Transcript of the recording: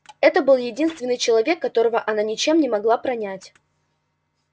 это был единственный человек которого она ничем не могла пронять